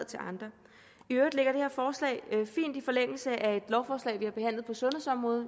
til andre i øvrigt ligger det her forslag fint i forlængelse af et lovforslag vi har behandlet på sundhedsområdet